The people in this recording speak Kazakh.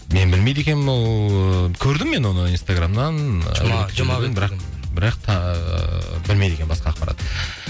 мен білмейді екенмін ол ыыы көрдім мен оны инстаграмнан бірақ та ыыы білмейді екенмін басқа ақпарат